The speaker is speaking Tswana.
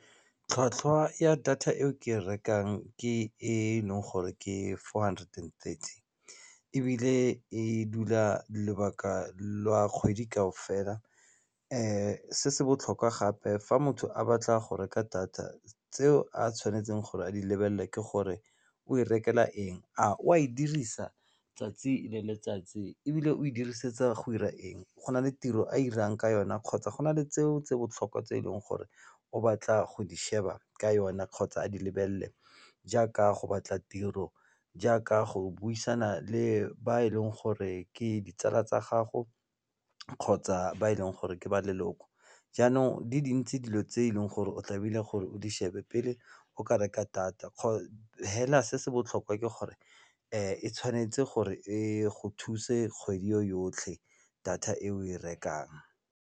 Tlhwatlhwa ya data e o ke rekang ke e leng gore ke four hundred and thirty ebile e dula lebaka lwa kgwedi kaofela, se se botlhokwa gape fa motho a batla go reka data tseo a tshwanetseng gore a di lebelele ke gore o e rekela eng a o a e dirisa 'tsatsi le letsatsi ebile o e dirisetsa go dira eng go na le tiro a irang ka yona kgotsa go na le tseo tsa botlhokwa tse e leng gore o batla go di sheba ka yona kgotsa a di lebelele jaaka go batla tiro, jaaka go buisana le ba e leng gore ke ditsala tsa gago kgotsa ba e leng gore ke ba leloko. Jaanong di dintsi dilo tse e leng gore o tlamehile gore o di shebe pele o ka reka data hela se se botlhokwa ke gore e tshwanetse gore e go thuse kgwedi yotlhe data e o e rekang.